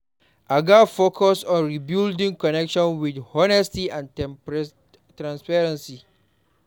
I gats focus on rebuilding connections with honesty and transparency.